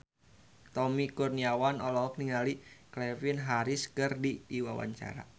Tommy Kurniawan olohok ningali Calvin Harris keur diwawancara